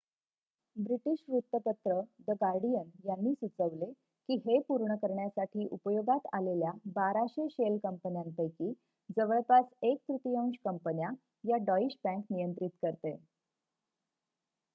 British वृत्तपत्र the Guardian यांनी सुचवले की हे पूर्ण करण्यासाठी उपयोगात आलेल्या 1200 शेल कंपन्यापैकी जवळपास एक तृतीयांश कंपन्या या डॉईश बँक नियंत्रित करते